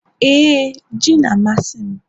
ee, ji na-amasị m